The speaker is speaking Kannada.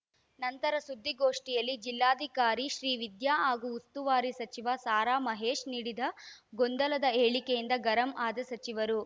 ನಂತರ ಸುದ್ದಿಗೋಷ್ಠಿಯಲ್ಲಿ ಜಿಲ್ಲಾಧಿಕಾರಿ ಶ್ರೀವಿದ್ಯಾ ಹಾಗೂ ಉಸ್ತುವಾರಿ ಸಚಿವ ಸಾರಾ ಮಹೇಶ್‌ ನೀಡಿದ ಗೊಂದಲದ ಹೇಳಿಕೆಯಿಂದ ಗರಂ ಆದ ಸಚಿವರು